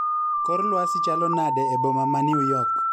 Kor lwasi chalo nade eboma ma new york